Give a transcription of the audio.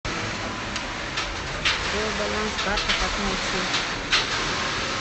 джой баланс карты как найти